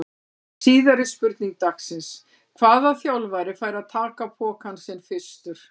Síðari spurning dagsins: Hvaða þjálfari fær að taka pokann sinn fyrstur?